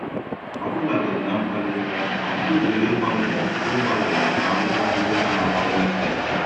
Ọbụlagodi na mkpali, ọtụtụ jụrụ ịgbanwee jụrụ ịgbanwee na ngwa ndị na-arụ ọrụ ike.